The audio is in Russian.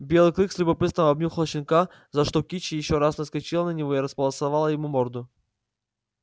белый клык с любопытством обнюхал щенка за что кичи ещё раз наскочила на него и располосовала ему морду